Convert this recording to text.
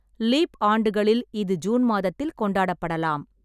Leaf ஆண்டுகளில் இது June மாதத்தில் கொண்டாடப்படலாம்.